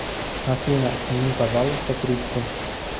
афина сними пожалуйста трубку